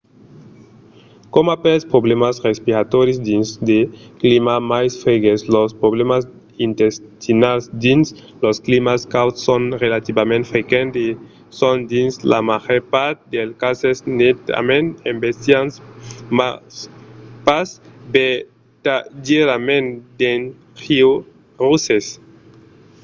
coma pels problèmas respiratòris dins de climats mai freges los problèmas intestinals dins los climats cauds son relativament frequents e son dins la màger part dels cases netament embestiants mas pas vertadièrament dangieroses